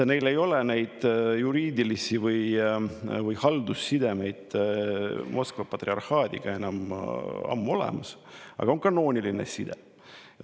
Neil ei ole juriidilisi või haldussidemeid Moskva patriarhaadiga enam ammu, aga on kanooniline side.